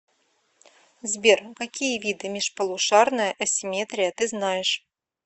сбер какие виды межполушарная асимметрия ты знаешь